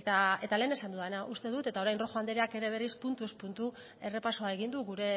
eta lehen esan dudana uste dut eta orain rojo andreak ere berriz puntuz puntu errepasoa egin du gure